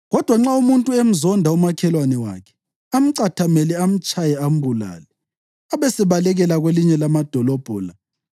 Kodwa nxa umuntu emzonda umakhelwane wakhe, amcathamele, amtshaye ambulale, abesebalekela kwelinye lamadolobho la,